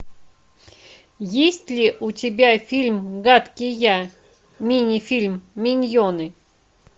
есть ли у тебя фильм гадкий я мини фильм миньоны